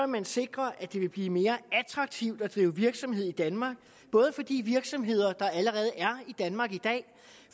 man sikre at det vil blive mere attraktivt at drive virksomhed i danmark både for de virksomheder der allerede er i danmark i dag